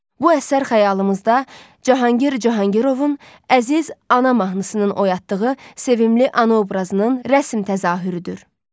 Bu əsər xəyalımızda Cahangir Cahangirovun Əziz ana mahnısının oyatdığı sevimli ana obrazının rəsm təzahürüdür.